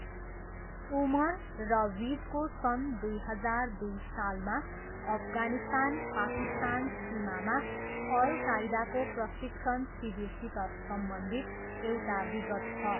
उमर र विजको सन् दुई हजार दुई सालमा अफगानिस्तान पाकिस्तान सीमामा अल कायदाको प्रशिक्षण शिविरसित सम्बन्धित एउटा विगत छ।